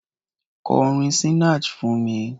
Kọ orin Sinach fún mi!